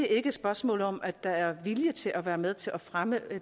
er et spørgsmål om om der er vilje til at være med til at fremme